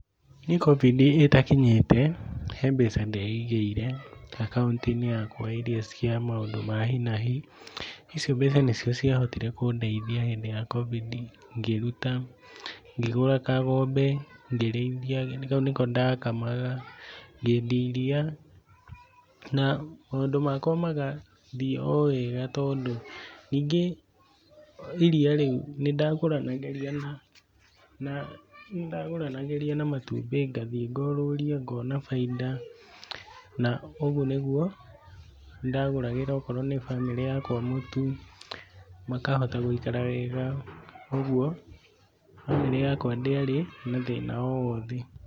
Niĩ Covid ĩtakinyĩte he mbeca ndeigĩire akaunti-inĩ yakwa ĩrĩa ya maũndũ ma hi na hi icio mbeca nĩ cio cia hotire kũndeithia hĩndĩ ya Covid ngĩruta, ngĩgũra kang'ombe ngĩrĩithia kau nĩko ndakamaga ngedia iria ,na maũndũ makwa magathiĩ o wega tondũ ningĩ iria rĩu nĩ ndagũranagĩria na matumbĩ ngathiĩ ngũrũria ngona baita na ũgũo nĩ gũo ndagũragĩra o korwo nĩ mbamĩrĩ yakwa mũtu makahota gũikara wega ũgũo mbamĩrĩ yakwa ndĩarĩ na thĩna o wothe.